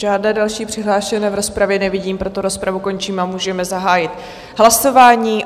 Žádné další přihlášené v rozpravě nevidím, proto rozpravu končím a můžeme zahájit hlasování.